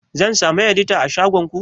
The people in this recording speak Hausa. Zan samu edita a shagon ku?